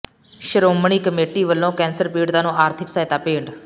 Shiromani committee ਵੱਲੋਂ cancer ਪੀੜਤਾਂ ਨੂੰ ਆਰਥਿਕ ਸਹਾਇਤਾ ਭੇਟ